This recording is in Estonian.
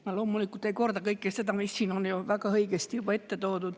Ma loomulikult ei korda kõike seda, mida siin on juba väga õigesti ette toodud.